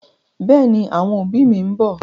Bẹ́ẹ̀ni, àwọn òbí mi ń bọ̀.